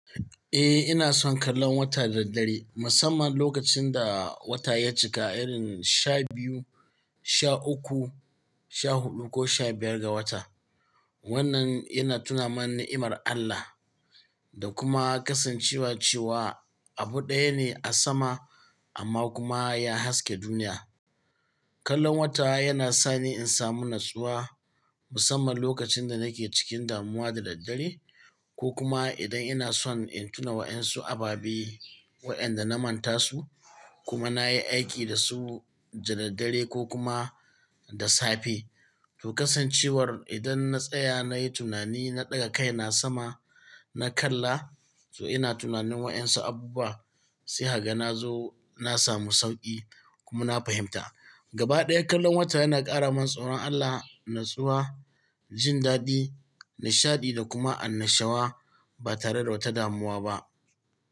Eh ina son kallon wata da daddare musamman lokacin da wata ya cika irin sha biyu, sha uku, sha huɗu ko sha biyar ga wata. Wannan yana tuna man ni'imar Allah da kuma kasancewa cewa abu ɗaya ne a sama amma kuma ya haske duniya. Kallon wata yana sani in samu natsuwa musamman lokacin da nake cikin damuwa da daddare ko kuma idan ina son in tuna wa 'yan su ababe wayanda na manta su kuma na yi aiki da su da daddare ko kuma da safe. To kasancewar idan na tsaya nayi tunani na ɗaga kai na sama na kalla to ina tunanin wa 'yan su abu ba sai haka na zo na samu sauƙi kuma na fahimta. Gaba ɗaya kallon wata yana ƙara min tsaron Allah, natsuwa, jin daɗi, nishaɗi da kuma annashawa ba tare da wata damuwa ba.